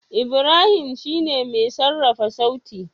Ibrahim shine mai sarrafa sauti.